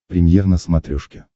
премьер на смотрешке